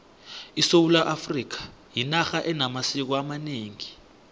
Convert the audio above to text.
isewula afrikha yinarha enamasiko amanengi